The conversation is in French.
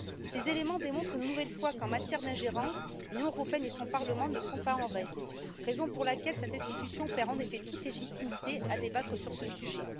Ces éléments démontrent une nouvelle fois qu'en matière d'ingérence, l'Union européenne et son Parlement ne sont pas en reste, raison pour laquelle cette institution perd en effet toute légitimité à débattre de ce sujet.